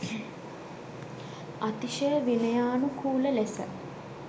අතිශය විනයානුකූල ලෙස